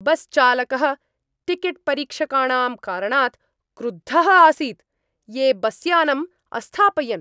बस्चालकः टिकेट्परीक्षकाणां कारणात् क्रुद्धः आसीत्, ये बस्यानं अस्थापयन्।